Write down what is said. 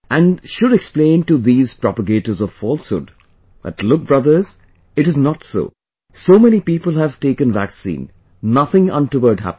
And should explain to these propagators of falsehood that look brothers it is not so, so many people have taken vaccine, nothing untoward happens